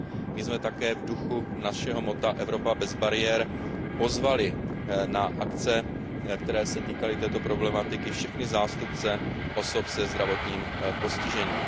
My jsme také v duchu našeho motta Evropa bez bariér pozvali na akce, které se týkaly této problematiky, všechny zástupce osob se zdravotním postižením.